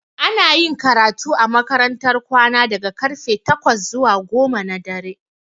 Ana yin karatu a makarantar kwana daga karfe takwas zuwa goma na dare